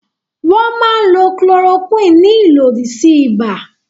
Wọ́n máa ń lo Chloroquine ní ìlòdì sí ibà.